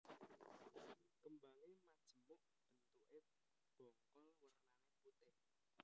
Kembange majemuk bentukke bongkol wernane putih